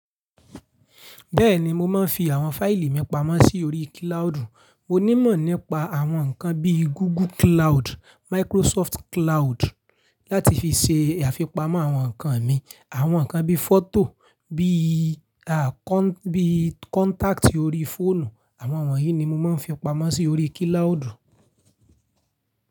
Bẹ́ẹ̀ni, mo máa ń fi àwọn fáìlì mi pamọ́ sí orí kíláàdù. Mo ní ìmọ̀ nípa àwọn nǹkan bí i Google Cloud, Microsoft Cloud láti fi ṣe àfipamọ́ àwọn nǹkan mi. Àwọn nǹkan bí i fọ́tò, bí i, à, bí i contact orí fóònù, àwọn wọ̀nyí ni mo máa ń fi pamọ́ sí orí kíláodù.